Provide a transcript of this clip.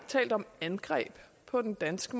angreb på den danske